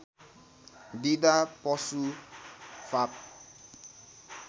दिँदा पशु फाप